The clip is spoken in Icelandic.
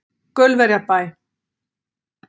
Gaulverjabæ